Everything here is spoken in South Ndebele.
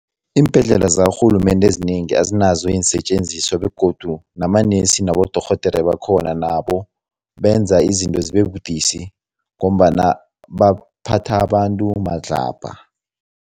Iimbhedlela zakarhulumende ezinengi azinazo iinsetjenziswa begodu namanesi nabodorhodere bakhona nabo benza izinto zibebudisi ngombana baphatha abantu madlabha.